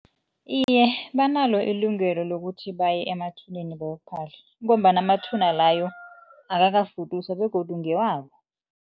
Iye, banalo ilungelo lokuthi baye emathuneni bayokuphahla ngombana amathuba layo akakafuduswa begodu ngewabo.